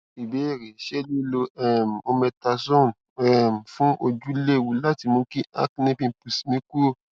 ìbéèrè ṣé liló um mometasone um fun ojú léwu láti mú kí acne pimples mi kúrò